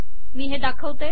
मी हे दाखवते